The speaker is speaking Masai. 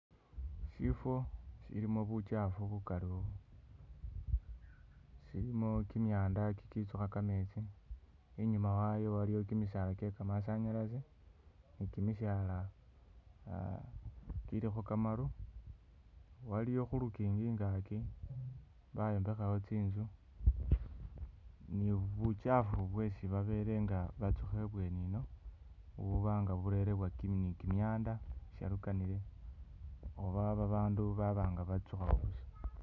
Shifo shilimo buchafu bukali-u silimo kimyanda kikitsukha kametsi inyuma wayo waliyo kimisaala kyekamasanyalaze nikimisaala -a kilikho kamaru waliwo khulukingi ingaki bayombekhawo tsinzu nibukyafu bwesi babelenga batsukha ibweni ino bubanga burerebwa ki-nikimyanda shalukanile oba babandu baba nga batsukhawo busa